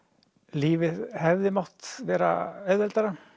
lífið hefði mátt vera auðveldara